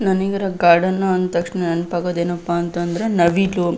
ನಾನೀಗ ಗಾರ್ಡನ್ ಅಂದ್ ತಕ್ಷಣ ನೆನಪ್ ಆಗೋದ್ ಏನಪ್ಪಾ ಅಂತ ಅಂದ್ರ ನವಿಲು.